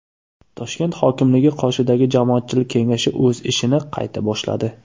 Toshkent hokimligi qoshidagi Jamoatchilik kengashi o‘z ishini qayta boshladi.